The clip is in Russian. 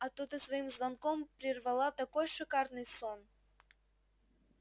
а то ты своим звонком прервала такой шикарный сон